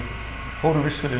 fórum vissulega